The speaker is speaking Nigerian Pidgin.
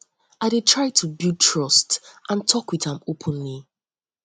i dey try to build trust to build trust and talk with am openly